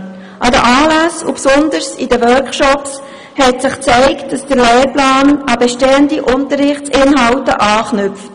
An den Anlässen und insbesondere in den Workshops hat sich gezeigt, dass der Lehrplan an bestehende Unterrichtsinhalte anknüpft.